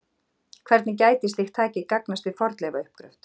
Hvernig gæti slíkt tæki gagnast við fornleifauppgröft?